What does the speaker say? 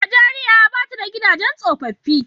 Nijeriya ba ta da gidajen tsofaffi.